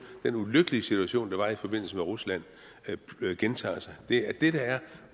den ulykkelige situation der var i forbindelse med rusland gentager sig det er det der er